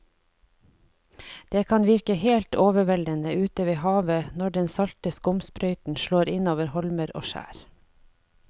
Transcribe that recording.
Det kan virke helt overveldende ute ved havet når den salte skumsprøyten slår innover holmer og skjær.